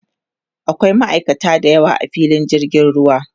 akwai ma'aikata da yawa a filin jirgin ruwa